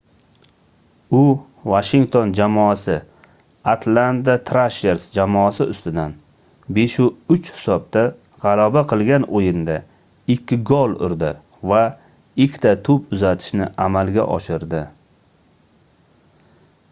u washington jamoasi atlanta thrashers jamoasi ustidan 5:3 hisobda gʻalaba qilgan oʻyinda 2 gol urdi va 2 ta toʻp uzatishni amalga oshirdi